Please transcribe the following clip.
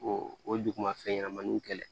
O o duguma fɛn ɲɛnɛmaniw kɛlɛ